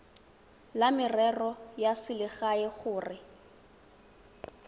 la merero ya selegae gore